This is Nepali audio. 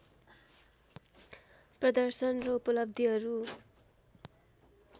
प्रदर्शन र उपलब्धिहरू